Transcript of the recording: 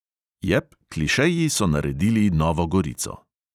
Jep, klišeji so naredili novo gorico.